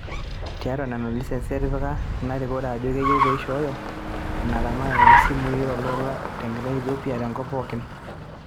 Tiatua nena lisensi etipika ina rikore ejo keyiu peishoyoo ina tamatare oo simui aa oltoilo enaa ilkigerot te Ethiopia o tenkop pooki